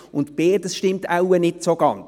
Beides stimmt so wohl nicht ganz.